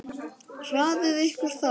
LÁRUS: Hraðið ykkur þá!